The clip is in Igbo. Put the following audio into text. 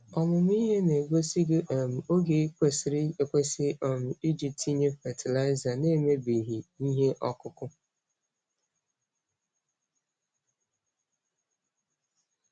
Ọmụmụ ihe na-egosi gị um oge kwesịrị ekwesị um iji tinye fatịlaịza n'emebighị ihe ọkụkụ.